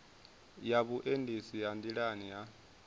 ya vhuendisi ha nḓilani ha